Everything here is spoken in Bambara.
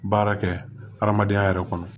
Baara kɛ adamadenya yɛrɛ kɔnɔ